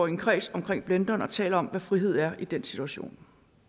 en kreds omkring blenderen og taler om hvad frihed er i den situation